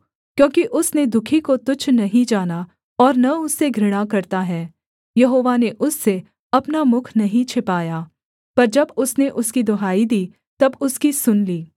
क्योंकि उसने दुःखी को तुच्छ नहीं जाना और न उससे घृणा करता है यहोवा ने उससे अपना मुख नहीं छिपाया पर जब उसने उसकी दुहाई दी तब उसकी सुन ली